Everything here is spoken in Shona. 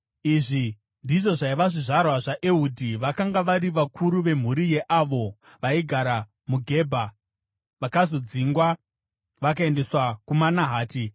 Izvi ndizvo zvaiva zvizvarwa zvaEhudhi vakanga vari vakuru vemhuri yeavo vaigara muGebha vakazodzingwa vakaendeswa kuManahati: